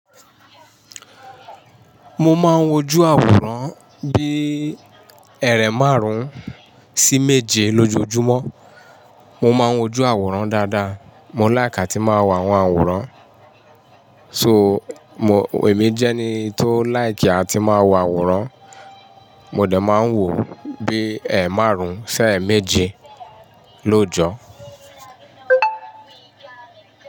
Mo máa ń wojú àwòrán bíi ẹ̀ẹ̀rẹ̀ márùn-ún sí méje lójoojúmọ́. Mo máa ń wojú àwòrán dáadáa. Mo láìká tí máa wo àwọn àwòrán. Èmi jẹ́ ẹni tó láìkì a tí máa wo àwòrán. Mo dẹ̀ máa ń wò bíi ẹẹ́ márùn-ún sí ẹẹ́ méje lóojọ́.